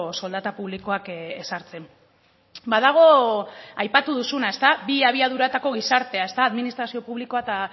soldata publikoak ezartzen badago aipatu duzuna bi abiaduratako gizartea administrazio publikoa eta